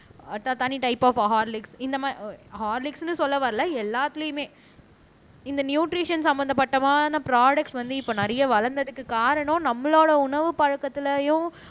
ஆஹ் தனி type of Horlicks இந்த மாரி ஹார்லிக்ஸ்ன்னு சொல்ல வரல எல்லாத்துலயுமே இந்த நியூட்ரிஷன் சம்பந்தப்பட்டமான ப்ரோடுக்ட்ஸ் வந்து இப்ப நிறைய வளர்ந்ததுக்கு காரணம் நம்மளோட உணவுப் பழக்கத்திலயும்